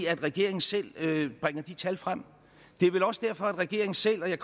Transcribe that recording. at regeringen selv bringer de tal frem det er vel også derfor at regeringen selv og jeg